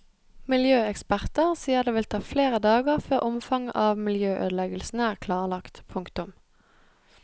Miljøeksperter sier at det vil ta flere dager før omfanget av miljøødeleggelsene er klarlagt. punktum